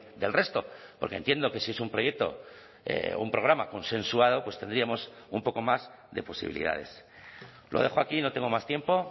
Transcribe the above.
del resto porque entiendo que si es un proyecto un programa consensuado pues tendríamos un poco más de posibilidades lo dejo aquí no tengo más tiempo